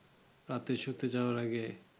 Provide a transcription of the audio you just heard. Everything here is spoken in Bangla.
রাতে শুতে যাবার আগে